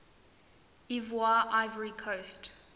ivoire ivory coast